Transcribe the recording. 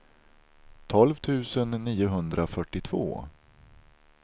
tolv tusen niohundrafyrtiotvå